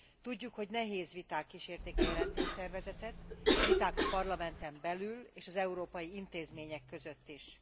Tudjuk, hogy nehéz viták kísérték a jelentéstervezetet, viták a Parlamenten belül és az európai intézmények között is.